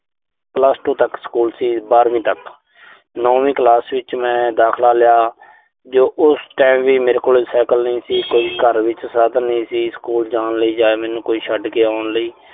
plus two ਤੱਕ school ਸੀ, ਬਾਰਵੀਂ ਤੱਕ। ਨੌਵੀਂ ਕਲਾਸ ਵਿੱਚ ਮੈਂ ਦਾਖਲਾ ਲਿਆ। ਜੋ ਉਸ time ਵੀ ਮੇਰੇ ਕੋਲ ਸਾਈਕਲ ਨਹੀਂ ਸੀ। ਕੋਈ ਘਰ ਵਿੱਚ ਸਾਧਨ ਨਹੀਂ ਸੀ, ਸਕੂਲ ਜਾਣ ਲਈ ਜਾਂ ਮੈਨੂੰ ਕੋਈ ਛੱਡ ਕੇ ਆਉਣ ਲਈ।